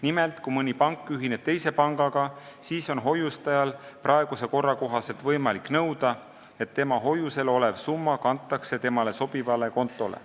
Nimelt, kui mõni pank ühineb teise pangaga, siis on hoiustajal praeguse korra kohaselt võimalik nõuda, et tema hoiusel olev summa kantakse temale sobivale kontole.